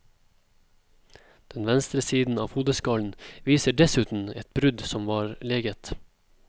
Den venstre siden av hodeskallen viser dessuten et brudd som var leget.